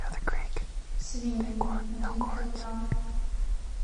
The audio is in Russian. свинину один килограмм